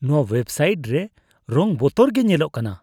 ᱱᱚᱣᱟ website ᱨᱮ ᱨᱚᱝ ᱵᱚᱛᱚᱨ ᱜᱮ ᱧᱮᱞᱚᱜᱼᱟ ᱾